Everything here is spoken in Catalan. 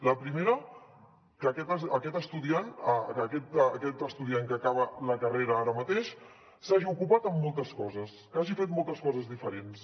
la primera que aquest estudiant que acaba la carrera ara mateix s’hagi ocupat en moltes coses que hagi fet moltes coses diferents